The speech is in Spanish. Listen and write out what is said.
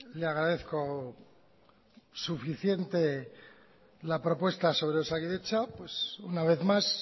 le agradezco suficiente la propuesta sobre osakidetza una vez más